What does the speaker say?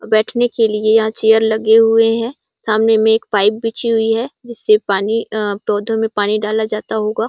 बैठने के लिए यहां चेयर लगे हुए हैं सामने में एक पाइप बिछी हुई है जिससे पानी अ पौधों में पानी डाला जाता होगा।